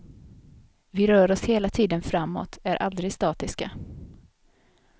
Vi rör oss hela tiden framåt, är aldrig statiska.